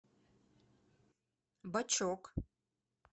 бачок